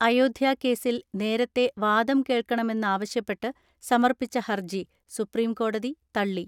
അയോധ്യാകേസിൽ നേരത്തെ വാദം കേൾക്കണമെ ന്നാവശ്യപ്പെട്ട് സമർപ്പിച്ച ഹർജി സുപ്രീംകോടതി തള ളി.